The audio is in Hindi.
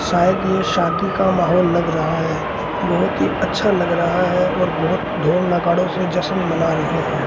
शायद ये शादी का माहौल लग रहा है बहोत ही अच्छा लग रहा है और बहोत ढोल नगाड़े से जश्न मना रहे हैं।